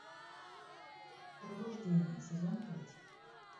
пробуждение сезон пять